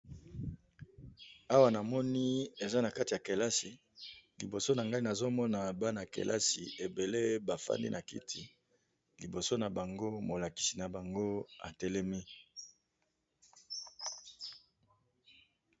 Awa na moni eza na kati ya kelasi liboso na ngai nazomona bana ya kelasi ebele bafandi na kiti liboso na bango molakisi na bango atelemi.